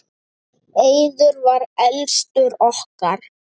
Eiður var elstur okkar.